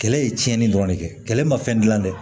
Kɛlɛ ye tiɲɛni dɔrɔn de kɛ kɛlɛ ma fɛn dilan dɛ